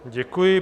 Děkuji.